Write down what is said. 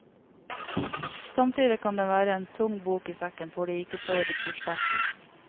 Samtidig kan den være en tung bok i sekken for de ikke så ressurssterke.